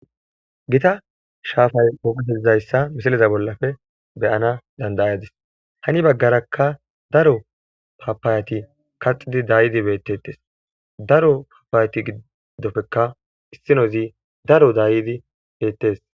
gita shaafay goizayssa misiliza bollafe beyana dandayadis hani baggarakka daro papaayati kaxidi dayidi beettetes daro papayati giddopfeka issinozi daro daayidi beettes